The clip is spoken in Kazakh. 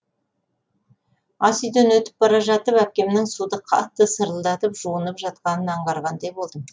ас үйден өтіп бара жатып әпкемнің суды қатты сырылдатып жуынып жатқанын аңдағандай болдым